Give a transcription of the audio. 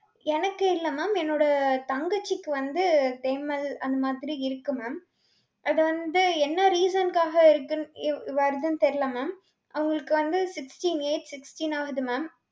எனக்கில்லை ma'am என்னோட தங்கச்சிக்கு வந்து தேமல் அந்த மாதிரி இருக்கு ma'am. அது வந்து என்ன reason க்காக இருக்குன்~ இ~ வருதுன்னு தெரில, ma'am அவங்களுக்கு வந்து sixteen age sixteen ஆகுது ma'am.